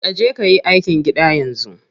Kaje kayi aikin gida yanzu.